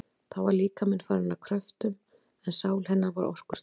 Þá var líkaminn farinn að kröftum, en sál hennar var orkustöð.